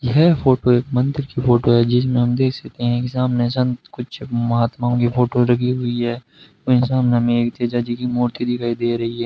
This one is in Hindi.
यह फोटो एक मंदिर की फोटो है जिसमें हम देख सकते हैं कि सामने संत कुछ महात्माओं की फोटो लगी हुई है वहीं सामने में तेजा जी की मूर्ति दिखाई दे रही है।